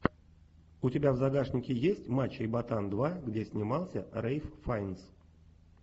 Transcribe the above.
у тебя в загашнике есть мачо и батан два где снимался рейф файнс